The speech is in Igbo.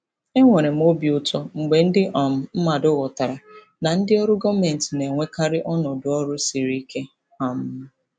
Enwere m obi ụtọ mgbe ndị um mmadụ ghọtara na ndị ọrụ gọọmentị na-enwekarị ọnọdụ ọrụ siri ike. um